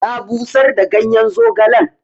Na busar da ganyen zogalen.